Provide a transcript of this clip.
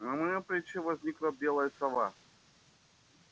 на моём плече возникла белая сова